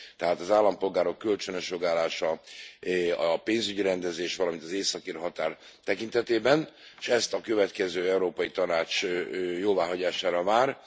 Tehát az állampolgárok kölcsönös jogállása, a pénzügyi rendezés, valamint az északír határ tekintetében, és ez a következő Európai Tanács jóváhagyására vár.